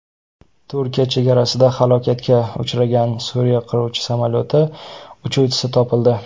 Turkiya chegarasida halokatga uchragan Suriya qiruvchi samolyoti uchuvchisi topildi.